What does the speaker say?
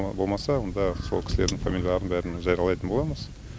болмаса онда сол кісілердің фамилияларын бәрін жариялайтын боламыз